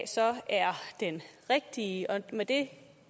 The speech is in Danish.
så er den rigtige med det